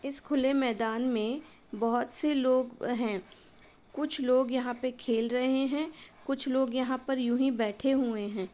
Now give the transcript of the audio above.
इस खुले मैदान में बहुत से लोग हैं। कुछ लोग यहाँ पे खेल रहे हैं। कुछ लोग यहाँ पे यूँ ही बैठे हुए हैं।